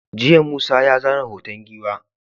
jiya Musa ya zana hoton giwa